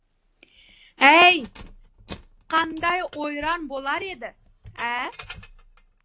әй қандай ойран болар еді ә